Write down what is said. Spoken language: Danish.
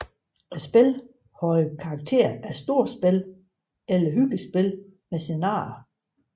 Spillet havde karakter af storspil eller hyggespil med scenarier